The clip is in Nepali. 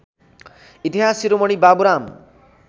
इतिहास शिरोमणि बाबुराम